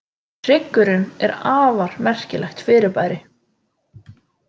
Hryggurinn er afar merkilegt fyrirbæri.